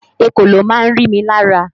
Ekòló máa ń rí mi lára